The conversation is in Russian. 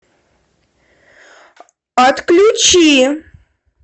отключи